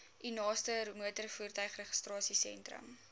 u naaste motorvoertuigregistrasiesentrum